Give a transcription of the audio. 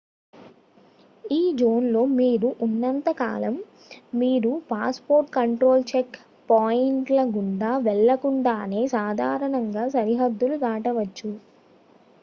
ఈ జోన్ లో మీరు ఉన్నంత కాలం మీరు passport control checkpoint ల గుండా వెళ్లకుండానే సాధారణంగా సరిహద్దులు దాటవచ్చు